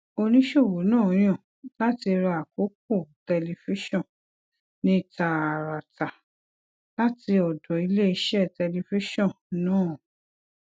oníṣòwò náà yàn láti ra àkókò tẹlifíṣòn ní tààràtà láti ọdọ iléeṣẹ tẹlifíṣòn náà